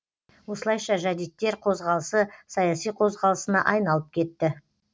осылайша жәдиттер қозғалысы саяси қозғалысына айналып кетті